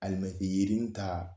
yirini ta